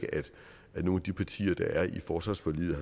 at nogen af de partier der er i forsvarsforliget